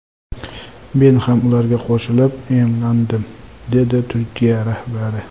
Men ham ularga qo‘shilib emlandim”, – dedi Turkiya rahbari.